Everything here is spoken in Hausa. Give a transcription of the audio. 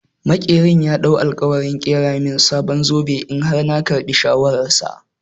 Maƙerin ya ɗau alƙawarin ƙera min sabon zobe in har na karɓi shawarar sa.